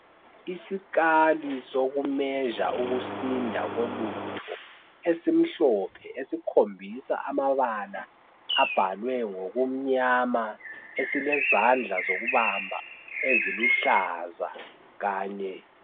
Isikali soku measure ukusinda kolutho, esimhlophe esikhombisa amabala abhalwe ngokumnyama, esilezandla zokubamba eziluhlaza kanye.